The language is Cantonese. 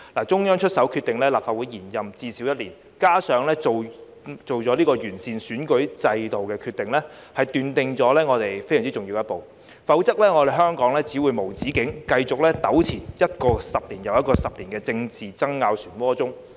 中央出手決定立法會延任至少一年，加上作出完善選舉制度的決定，奠定了非常重要的一步，否則香港只會無止境繼續糾纏於一個又一個10年的政治爭拗漩渦中。